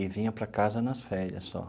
E vinha para casa nas férias só.